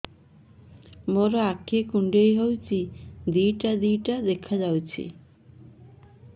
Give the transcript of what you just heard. ମୋର ଆଖି କୁଣ୍ଡାଇ ହଉଛି ଦିଇଟା ଦିଇଟା ଦେଖା ଯାଉଛି